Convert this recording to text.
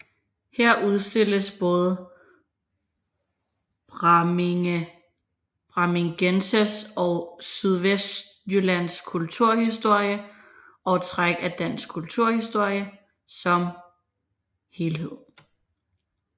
Her udstilles både Brammingegnens og Sydvestjyllands kulturhistorie og træk af dansk kulturhistorie som helhed